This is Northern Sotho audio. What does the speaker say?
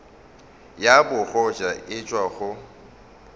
ya bogoja e tšwa go